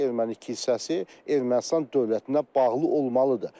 erməni kilsəsi Ermənistan dövlətinə bağlı olmalıdır.